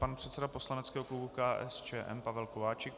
Pan předseda poslaneckého klubu KSČM Pavel Kováčik.